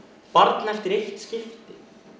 barn eftir eitt skipti